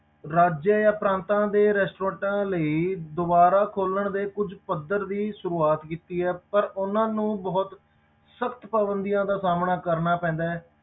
ਰਾਜਾਂ ਜਾਂ ਪ੍ਰਾਤਾਂ ਦੇ restaurants ਲਈ ਦੁਬਾਰਾ ਖੋਲਣ ਦੇ ਕੁੱਝ ਪੱਧਰ ਦੀ ਸ਼ੁਰੂਆਤ ਕੀਤੀ ਹੈ ਪਰ ਉਹਨਾਂ ਨੂੰ ਬਹੁਤ, ਸਖ਼ਤ ਪਾਬੰਦੀਆਂ ਦਾ ਸਾਹਮਣਾ ਕਰਨਾ ਪੈਂਦਾ ਹੈ,